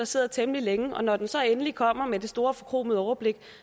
sidder temmelig længe og når den så endelig kommer med det store forkromede overblik